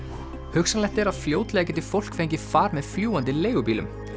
hugsanlegt er að fljótlega geti fólk fengið far með fljúgandi leigubílum